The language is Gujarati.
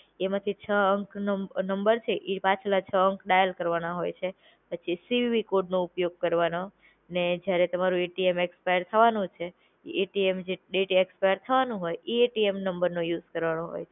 એમાંથી છ અંક નો નમ નંબર છે, ઈ પાછલા છ અંખ ડાયલ કરવાં હોય છે, પછી સીવીવી કોડનો ઉપયોગ કરવાનો, ને જયારે તમારું એટીએમ એક્સપાયર થવાનું છે, ઈ એટીએમ જે ડેટ એ એક્સપાયર થવાનું હોય એ એટીએમ નંબરનું યુઝ કરવાનું હોય